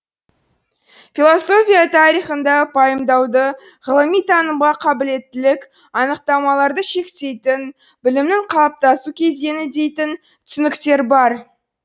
философия тарихында пайымдауды ғылыми танымға қабілеттілік анықтамаларды шектейтін білімнің калыптасу кезеңі дейтін түсініктер бар